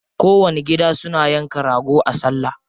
Kowanni gida suna yanka rago a salla.